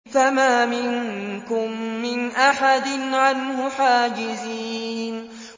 فَمَا مِنكُم مِّنْ أَحَدٍ عَنْهُ حَاجِزِينَ